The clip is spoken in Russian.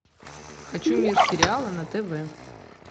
хочу мир сериала на тв